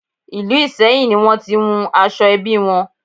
Ìlú Ìsẹ́yìn ni wón ti wun aṣọ ẹbí wọn.